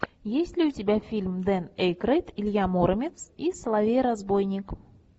есть ли у тебя фильм дэн эйкройд илья муромец и соловей разбойник